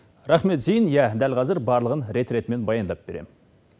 рахмет зейін иә дәл қазір барлығын рет ретімен баяндап беремін